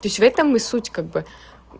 то есть в этом и суть как бы